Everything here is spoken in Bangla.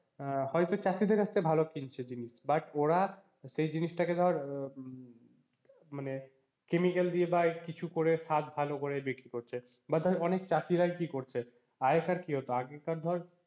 আহ হয়তো চাষীদের কাছ থেকে ভালো কিনছে জিনিস but ওরা সেই জিনিসটাকে ধর মানে chemical দিয়ে বা কিছু করে শাক ভালো করে বিক্রি করছে বা ধর অনেক চাষীরাই কি করছে, আগেকার কি হতো আগেকার ধর,